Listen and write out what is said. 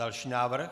Další návrh.